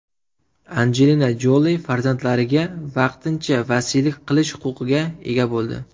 Anjelina Joli farzandlariga vaqtincha vasiylik qilish huquqiga ega bo‘ldi.